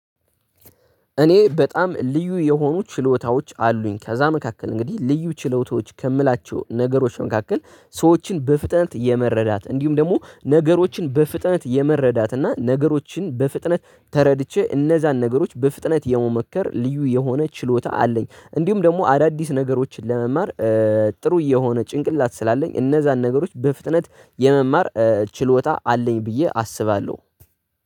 እኔ በጣም ልዩ የሆኑ ችሎታዎች አሉኝ ከዛ መካከል እንግዲህ ልዩ ችሎታዎች ከምላቸው ነገሮች ነገሮችን መካከል ሰዎችን በፍጥነት የመረዳት እንዲሁም ደግሞ ነገሮችን በፍጥነት የመረዳት እና ነገሮችን በፍጥነት ተረድቼ እነዛን ነገሮች በፍጥነት የመመከር ልዩ የሆነ ችሎታ አለኝ። እንዲሁም ደግሞ አዳዲስ ነገሮችን ለመማር ጥሩ የሆነ ጭንቅላት ስላለኝ እነዛን ነገሮች በፍጥነት የመማር ችሎታ አለኝ ብዬ አስባለሁ